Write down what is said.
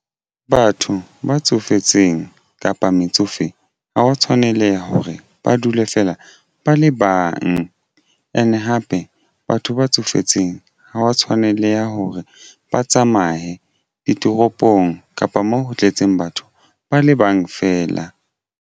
Batho ba tsofetseng kapa metsofe ha wa tshwaneleha hore ba dule fela ba le bang and hape batho ba tsofetseng ha wa tshwaneleha hore ba tsamaye ditoropong kapa moo ho tletseng batho ba le bang feela.